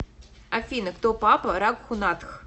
афина кто папа рагхунатх